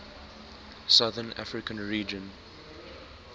southern african region